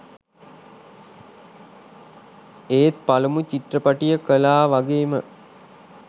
ඒත් පළමු චිත්‍රපටිය කළා වගේම